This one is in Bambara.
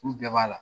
U bɛɛ b'a la